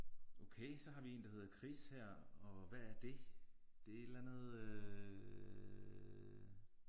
Okay så har vi en der hedder Chris her og hvad er det. Det er et eller andet øh